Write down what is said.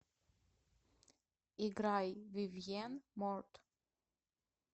играй вивьен морт